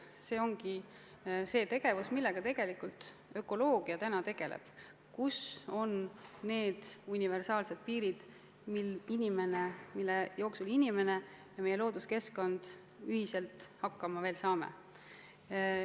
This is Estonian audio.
See ongi tegevus, millega ökoloogia tegeleb: kus on need universaalsed piirid, mille piires inimene ja looduskeskkond ühiselt hakkama veel saavad.